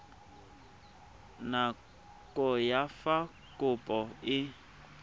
nako ya fa kopo e